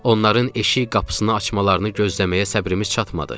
Onların eşik qapısını açmalarını gözləməyə səbrimiz çatmadı.